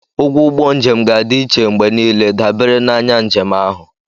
Ụgwọ ụgbọ njem ga-adị iche mgbe niile, dabere na anya njem ahụ.